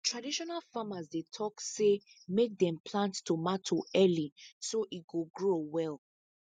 traditional farmers dey talk say make dem plant tomato early so e go grow well